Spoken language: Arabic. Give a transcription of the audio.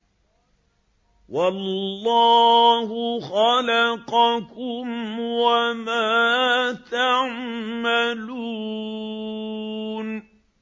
وَاللَّهُ خَلَقَكُمْ وَمَا تَعْمَلُونَ